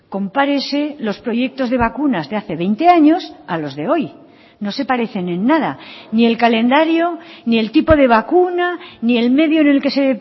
compárese los proyectos de vacunas de hace veinte años a los de hoy no se parecen en nada ni el calendario ni el tipo de vacuna ni el medio en el que se